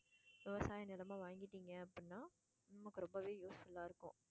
விவசாயம் நிலமா வாங்கிடீங்க அப்படின்னா உங்களுக்கு ரொம்பவே useful ஆ இருக்கும்.